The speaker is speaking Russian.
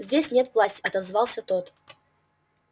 здесь нет власти отозвался тот